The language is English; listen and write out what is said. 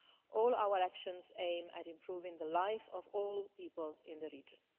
All our actions aim at improving the life of all people in the region.